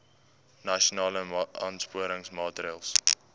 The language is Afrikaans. nasionale aansporingsmaatre ls